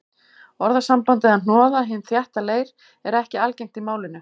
Orðasambandið að hnoða hinn þétta leir er ekki algengt í málinu.